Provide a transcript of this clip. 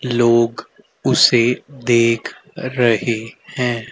लोग उसे देख रहे है।